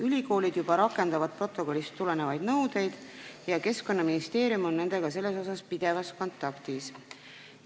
Ülikoolid juba rakendavad protokollist tulenevaid nõudeid ja Keskkonnaministeerium on nendega selles osas pidevas kontaktis.